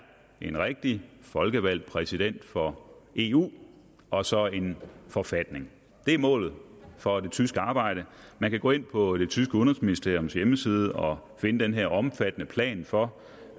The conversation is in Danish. en rigtig folkevalgt præsident for eu og så en forfatning det er målet for det tyske arbejde man kan gå ind på det tyske udenrigsministeriums hjemmeside og finde den omfattende plan for